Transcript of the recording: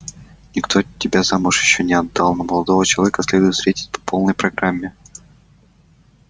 никто тебя замуж ещё не отдал но молодого человека следует встретить по полной программе